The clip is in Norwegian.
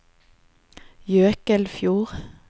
Jøkelfjord